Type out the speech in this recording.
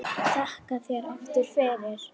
Þakka þér aftur fyrir.